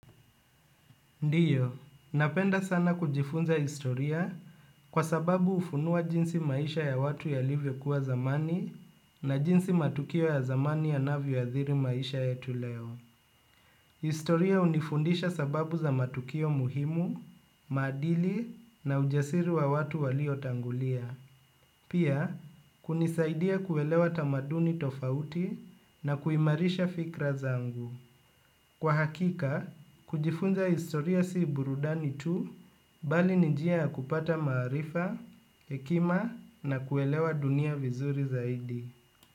Ndiyo, napenda sana kujifunza historia, kwa sababu hufunua jinsi maisha ya watu yalivyo kuwa zamani na jinsi matukio ya zamani yanavyo ya adhiri maisha yetu leo. Historia hunifundisha sababu za matukio muhimu, maadili na ujasiri wa watu walio tangulia. Pia, kunisaidia kuelewa tamaduni tofauti na kuimarisha fikra zangu. Kwa hakika, kujifunza historia si burudani tu, bali ni njia ya kupata maarifa, hekima na kuelewa dunia vizuri zaidi.